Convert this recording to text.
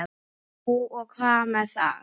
Jú, og hvað með það?